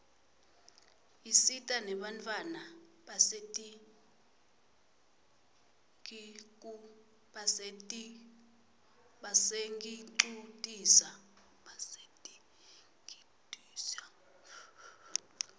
isita nenbantfwana basetinkitucisa